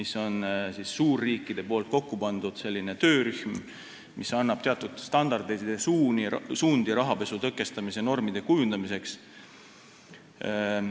See on suurriikide kokku pandud töörühm, mis annab teatud standardeid ja suundi rahapesu tõkestamise normide kujundamiseks.